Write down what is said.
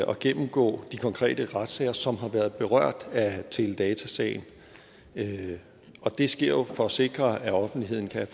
at gennemgå de konkrete retssager som har været berørt af teledatasagen og det sker jo for at sikre at offentligheden kan